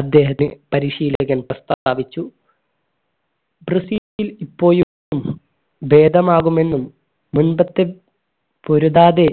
അദ്ദേഹത്തെ പരിശീലകൻ പ്രസ്താവിച്ചു ബ്രസീൽ ഇപ്പോഴും ഭേദമാകും എന്നും മുൻപത്തെ പൊരുതാതെ